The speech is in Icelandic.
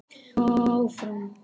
Og áfram.